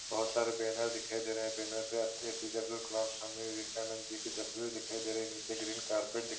बहोत सारे बैनर दिखाई दे रहे है बैनर पे ए.पि.जे अब्दुल कलाम सामने विवेकानंद जी तस्वीर दिखाई दे रही है नीचे ग्रीन कार्पेट दिख --